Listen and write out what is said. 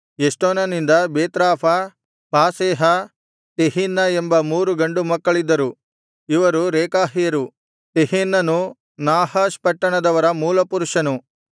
ಎಷ್ಟೋನನಿಂದ ಬೇತ್ರಾಫ ಪಾಸೇಹ ತೆಹಿನ್ನ ಎಂಬ ಮೂರು ಗಂಡು ಮಕ್ಕಳಿದ್ದರು ಇವರು ರೇಕಾಹ್ಯರು ತೆಹಿನ್ನನು ನಾಹಷ್ ಪಟ್ಟಣದವರ ಮೂಲಪುರುಷನು